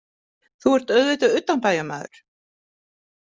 Þú ert auðvitað utanbæjarmaður.